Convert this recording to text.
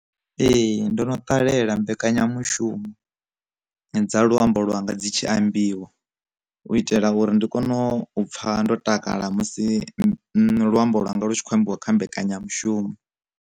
Ee ndo no ṱalela mbekanyamushumo dza luambo lwa nga dzi tshi ambiwa, u itela uri ndi kone u pfa ndo takala musi luambo lwa nga lu tshi khou ambiwa kha mbekanyamushumo.